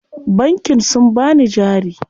Bankin sun bani jari.